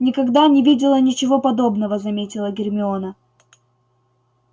никогда не видела ничего подобного заметила гермиона